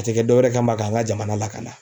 A tɛ kɛ dɔ wɛrɛ kama k'an ka jamana lakanda